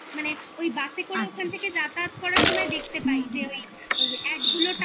বাসে করে ওখান থেকে যাতায়াত করার সময় দেখতে পাই যে ওই ad গুলো